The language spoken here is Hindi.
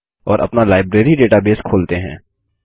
और अपना लाइब्रेरी डेटाबेस खोलते हैं